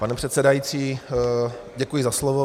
Pane předsedající, děkuji za slovo.